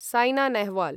San Nehwal